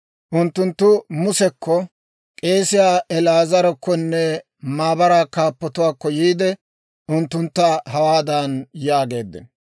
Unttunttu Musekko, k'eesiyaa El"aazarakkonne maabaraa kaappatuwaakko yiide, unttuntta hawaadan yaageeddino;